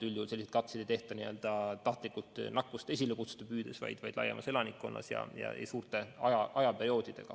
Üldjuhul selliseid katseid ei tehta tahtlikult nakkust esile kutsuda püüdes, vaid laiemas elanikkonnas ja pikema aja jooksul.